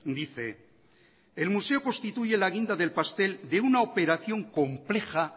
dice el museo constituye la guinda del pastel de una operación compleja